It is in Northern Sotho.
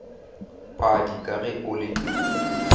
padi ka ge o le